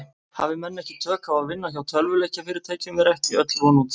Hafi menn ekki tök á að vinna hjá tölvuleikjafyrirtækjum er ekki öll von úti.